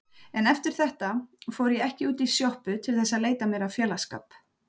En eftir þetta fór ég ekki út í sjoppu til að leita mér að félagsskap.